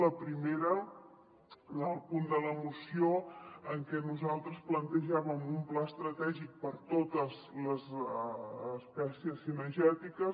la primera en el punt de la moció en què nosaltres plantejàvem un pla estratègic per a totes les espècies ci·negètiques